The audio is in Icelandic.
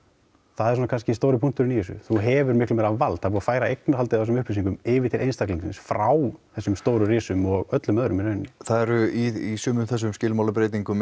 það er kannski svona stóri punkturinn í þessu þú hefur miklu meira vald að færa eignarhaldið á þessum upplýsingum yfir til einstaklingsins frá þessum stóru risum og öllum öðrum í rauninni það eru í sömu skilmálabreytingum